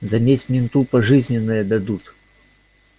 за месть менту пожизненное дадут